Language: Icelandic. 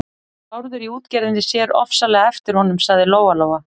Hann Bárður í útgerðinni sér ofsalega eftir honum, sagði Lóa-Lóa.